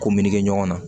Ko meleke ɲɔgɔn na